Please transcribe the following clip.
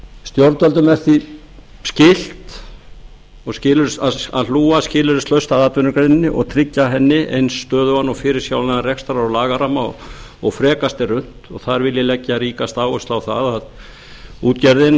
stjórnvöldum er því skylt að hlúa skilyrðislaust að atvinnugreininni og tryggja henni eins stöðugan og fyrirsjáanlegan rekstrar og lagaramma og frekast er unnt og þar vil ég leggja ríkasta áherslu á það að útgerðin